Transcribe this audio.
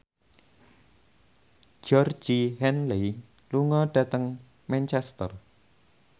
Georgie Henley lunga dhateng Manchester